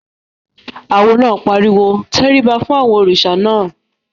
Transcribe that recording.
Awo náà pariwo "tẹríba fún àwọn òrìṣà náà!"